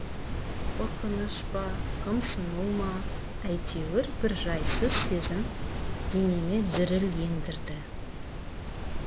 қорқыныш па қымсыну ма әйтеуір бір жайсыз сезім денеме діріл ендірді